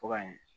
Ka yen